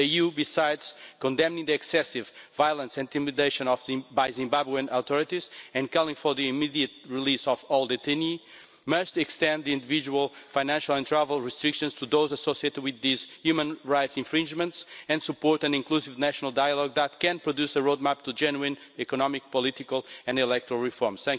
The EU, besides condemning the excessive violence and intimidation by the Zimbabwean authorities and calling for the immediate release of all detainees, must extend the individual financial and travel restrictions to those associated with these human rights infringements, and support an inclusive national dialogue that can produce a roadmap to genuine economic, political and electoral reforms.